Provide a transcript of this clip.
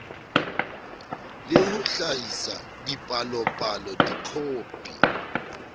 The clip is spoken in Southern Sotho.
le ho hlahisa dipalopalo dikhopi